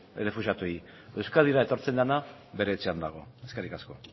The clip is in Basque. errefuxiatuei euskadira etortzen dena bere etxean dago eskerrik asko